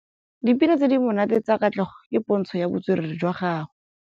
Dipina tse di monate tsa Katlego ke pôntshô ya botswerere jwa gagwe.